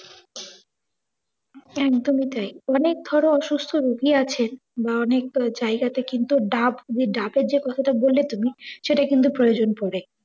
একদমই তাই। অনেক ধরো অসুস্থ রুগি আছে বা অনেক জায়গা তে কিন্তু ডাব, ঐ ডাবের যে কথাটা বললে তুমি সেটা কিন্তু প্রয়োজন পরে।